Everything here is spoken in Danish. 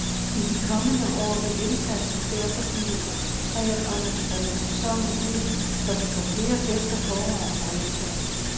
I de kommende år vil indsatsen derfor blive koncentreret om at sprede sæsonen ud, så vi får flere gæster forår og efterår.